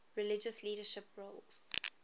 religious leadership roles